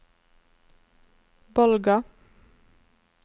Bolga